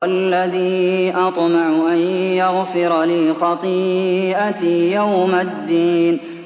وَالَّذِي أَطْمَعُ أَن يَغْفِرَ لِي خَطِيئَتِي يَوْمَ الدِّينِ